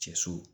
Cɛ so